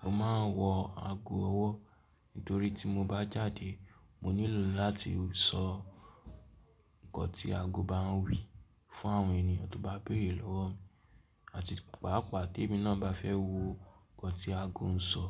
mo máa ń wọ ago ọwọ́ nitorí tí mo bá jáde mo nílò láti sọ nǹkan tí ago bá ń wí fún àwọn ènìyàn tó bá bèèrè lọ́wọ́ mi, àti pàápàà tí èmi náà bá fẹ́ wo nǹkan tí ago ń sọ.